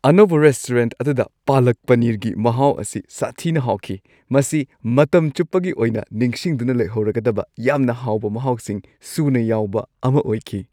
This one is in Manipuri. ꯑꯅꯧꯕ ꯔꯦꯁꯇꯨꯔꯦꯟꯠ ꯑꯗꯨꯗ ꯄꯥꯂꯛ ꯄꯅꯤꯔꯒꯤ ꯃꯍꯥꯎ ꯑꯁꯤ ꯁꯥꯊꯤꯅ ꯍꯥꯎꯈꯤ; ꯃꯁꯤ ꯃꯇꯝ ꯆꯨꯞꯄꯒꯤ ꯑꯣꯏꯅ ꯅꯤꯡꯁꯤꯡꯗꯨꯅ ꯂꯩꯍꯧꯔꯒꯗꯕ ꯌꯥꯝꯅ ꯍꯥꯎꯕ ꯃꯍꯥꯎꯁꯤꯡ ꯁꯨꯅ ꯌꯥꯎꯕ ꯑꯃ ꯑꯣꯏꯈꯤ ꯫